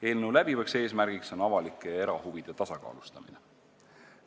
Eelnõu läbiv eesmärk on avalike ja erahuvide tasakaalustamine.